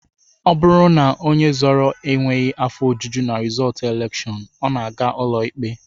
Ọ bụrụ na onye zọrọ ọkwa enweghị afọ ojuju na rizọọtụ elekshọn, ọ na-aga ụlọikpe